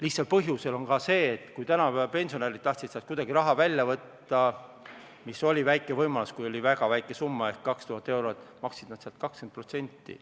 Lihtsalt põhjus on ka see, et kui tänapäeva pensionärid tahtsid kuidagi raha välja võtta, milleks oli väike võimalus, kui oli väga väike summa ehk 2000 eurot, siis maksid nad 20%.